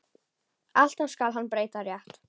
Alltaf skal hann breyta rétt.